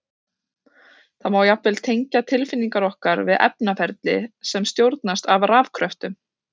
Það má jafnvel tengja tilfinningar okkar við efnaferli sem stjórnast af rafkröftum!